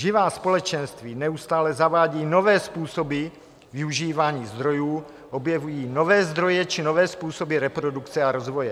Živá společenství neustále zavádějí nové způsoby využívání zdrojů, objevují nové zdroje či nové způsoby reprodukce a rozvoje.